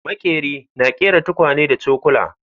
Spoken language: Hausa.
Maƙeri na ƙera tukwane da cokula